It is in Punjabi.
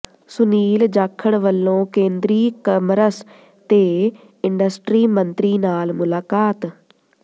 ਸੁਨੀਲ ਜਾਖੜ ਵੱਲੋਂ ਕੇਂਦਰੀ ਕਮਰਸ ਤੇ ਇੰਡਸਟਰੀ ਮੰਤਰੀ ਨਾਲ ਮੁਲਾਕਾਤ